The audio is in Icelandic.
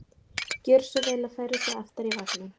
Gjöra svo vel að færa sig aftar í vagninn!